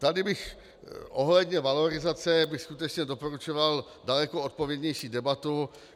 Tady bych ohledně valorizace skutečně doporučoval daleko odpovědnější debatu.